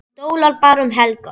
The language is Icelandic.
Hann dólar bara um helgar.